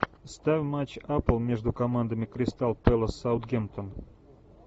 ставь матч апл между командами кристал пэлас саутгемптон